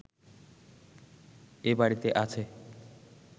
এ বাড়িতে আছে